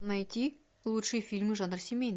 найти лучшие фильмы жанра семейный